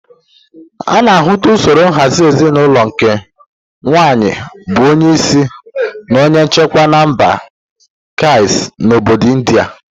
Ana ahụta usoro nhazị ezinulo nke nwaanyi bu onye isi na onye nchikwa na mba Khasi n'obodo India.